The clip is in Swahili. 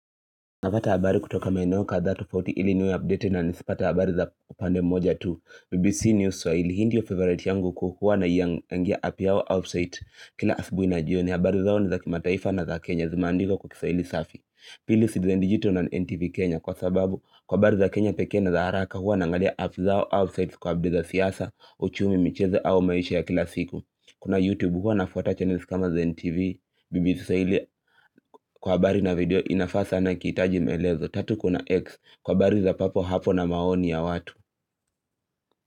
Napata habari kutoka maeneo kadhaa tufauti ili niwe updated na nisipate habari za pande moja tu. BBC News Swahili hii ndiyo favorite yangu kuu huwa naingia naingia app yao outside Kila asubuhi na jioni habari zao ni za kimataifa na za Kenya zilizo na kisaili safi Pili sidizenjito na NTV Kenya kwa sababu kwa habari za Kenya peke na za haraka huwa na angalia app zao outside Kwa habari za siasa uchumi michezo au maisha ya kila siku Kuna YouTube huwa na fuata channels kama za NTV BBC swahili kwa habari na video inafaa sana ikihitaji melezo tatu kuna X kwa habari za papo hapo na maoni ya watu.